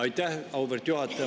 Aitäh, auväärt juhataja!